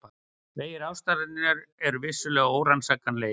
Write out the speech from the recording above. Vegir ástarinnar eru vissulega órannsakanlegir.